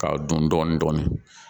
K'a dun dɔɔni dɔɔni